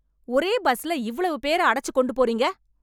ஒரே பஸ்ல இவ்வளவு பேர அடச்சு கொண்டு போறீங்க